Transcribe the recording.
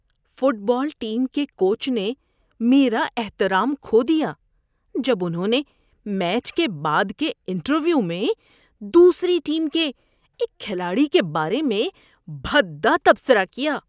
Fit بال team کے coach نے میرا احترام کھو دیا جب انہوں نے میچ کے بعد کے انٹرویو میں دوسری ٹیم کے ایک کھلاڑی کے بارے میں بھدا تبصرہ کیا۔